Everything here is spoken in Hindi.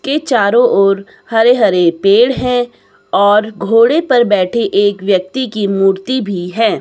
के चारों ओर हरे हरे पेड़ है और घोड़े पर बैठे एक व्यक्ति की मूर्ति भी है।